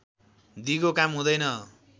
दिगो काम हुँदैन